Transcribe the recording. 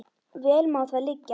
Vel má það liggja.